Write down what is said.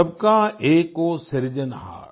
सभ का एकौ सिरजनहार